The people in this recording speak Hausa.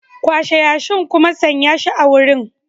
Kwashe yashin kuma sanya shi a wurin.